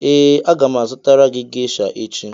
ee aga m azụtara gị gesha echi